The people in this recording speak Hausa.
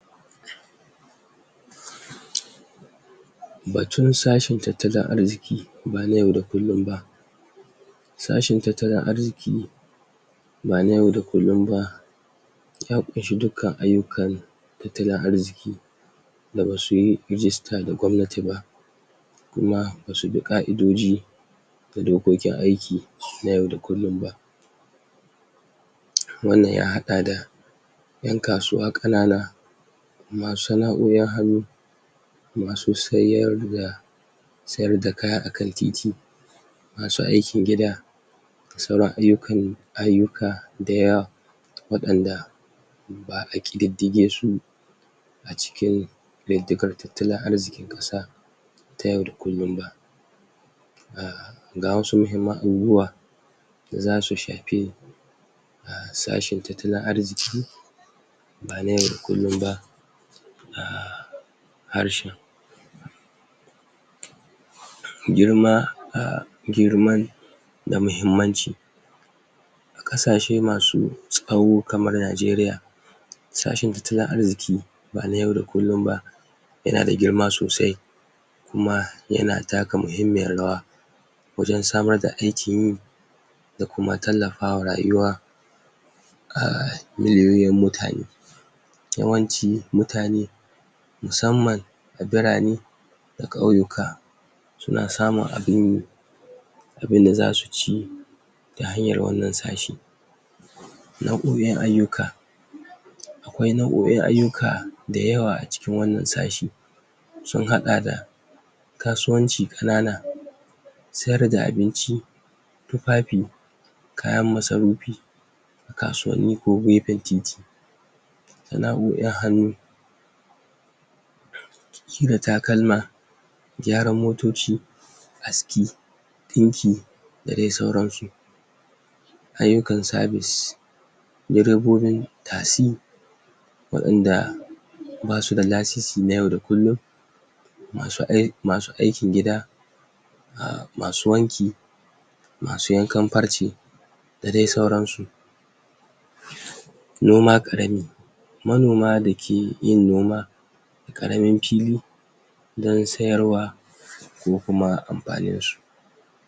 ? batun sashin tattalin arziki ba na yau da kullun ba sashin tattalin arziki ba na yau da kullun ba ya ƙunshi dukkan ayyukan tattalin arziki da basuyi rijista da gwamnati ba kuma basu bi ƙa'idoji na dokokin aiki na yau da kullun ba? wannan ya haɗa da ƴan kasuwa ƙanana masu sana'o'in hannu masu sayar da sayar da kaya akan titi masu aikin gida da sauran ayyukan yi ayyuka dayawa waɗanda ba'a ƙididdige su a cikin ƙididdigar tattalin arzikin ƙasa ta yau da kullun ba um ga wasu muhimman abubuwa da zasu shapi um sashin tattalin arziki ba na yau da kullun ba um harshen girma um girman da muhimmanci a ƙasashe masu tsawo kamar Najeriya sashin tattalin arziki ba na yau da kullun ba yana da girma sosai kuma yana taka muhimmiyar rawa wajen samar da aikin yi da kuma tallafawa rayuwa um miliyoyin mutane yawanci mutane musamman a birane da ƙauyuka suna samun abinyi abunda zasu ci ta hanyar wannan sashi na umin ayyuka akwai nau'o'in ayyuka dayawa a cikin wannan sashi sun haɗa da kasuwanci ƙanana siyar da abinci tufafi kayan masarupi a kasuwanni ko gepen titi sana'o'in hannu kira takalma gyaran motoci aski ɗinki da dai sauransu ayyukan sabis direbobin tasi waɗanda basu da lasisi na yau da kullun masu ai masu aikin gida um masu wanki masu yankan parce da dai sauransu? noma ƙarami manoma dake yin noma ƙaramin pili don sayar wa ko kuma ampaninsu